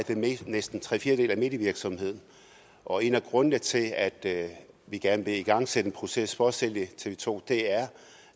næsten tre fjerdedele af medievirksomheden og en af grundene til at at vi gerne vil igangsætte en proces for at sælge tv to er